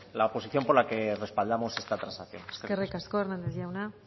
la posición por la que respaldamos esta transaccional eskerrik asko eskerrik asko hernández jauna